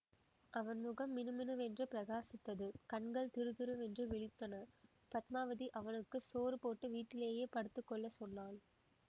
அவன் முகம் மினுமினுவென்று பிரகாசித்தது கண்கள் திறுதிறுவென்று விழித்தன பத்மாவதி அவனுக்கு சோறுபோட்டு வீட்டிலேயே படுத்து கொள்ள சொன்னாள்